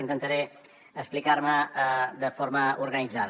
intentaré explicar me de forma organitzada